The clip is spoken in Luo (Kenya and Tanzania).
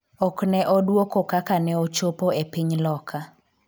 ok ne odwoko kaka ne ochopo e piny Loka